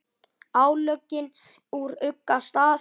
álögin úr ugga stað